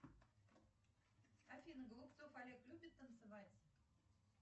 афина голубцов олег любит танцевать